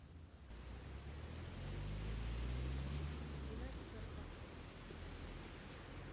ринатика рыбака